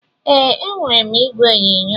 Ee, enwere m igwe onyonyo.